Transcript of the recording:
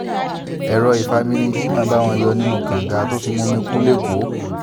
èrò ìfami ni jimo ń bá wọn yọ̀ nínú kànga tó fi mumi kù lẹ́kọ̀ọ́